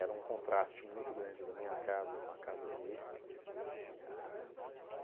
Era um contraste muito grande da minha casa com a casa dele. Ahn